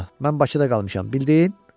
mən Bakıda qalmışam, bildin?